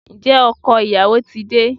Ǹjẹ́ ọkọ ìyàwó ti de?